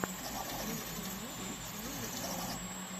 включи мне смешные вайны